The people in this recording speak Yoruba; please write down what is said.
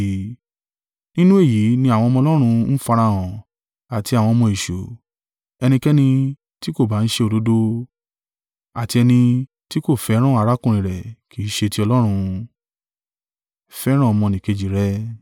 Nínú èyí ni àwọn ọmọ Ọlọ́run ń farahàn, àti àwọn ọmọ èṣù; ẹnikẹ́ni tí kò ba ń ṣe òdodo, àti ẹni tí kò fẹ́ràn arákùnrin rẹ̀ kì í ṣe ti Ọlọ́run.